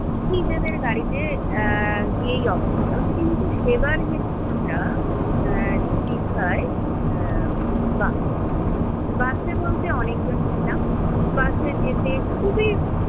নিজেদের গাড়িতে আহ গিয়েই অভ্যস্ত। কিন্তু সেবার গিয়েছি আমরা আহ দীঘা আহ বাসে। বাসে বলতে অনেকজন ছিলাম। বাসে যেতে খুবই